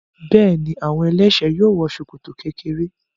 Bẹ́ẹ̀ni, àwọn ẹlẹ́ṣẹ̀ẹ́ yóò wọ ṣòkòtò kékeré.